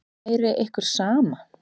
Væri ykkur sama?